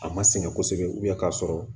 A ma sɛgɛn kosɛbɛ ka sɔrɔ